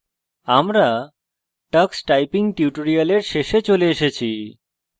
আমরা tux typing tutorial শেষে চলে এসেছি